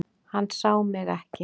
Hann sá mig ekki.